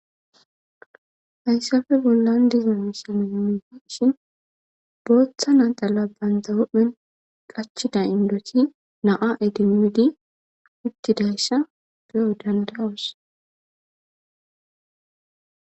Hayssape bollan dizza missile nuni be'ishin booththa naxxala banththa huphen qachida indotti naa' idimidi uttidayssa beoo' dandayss.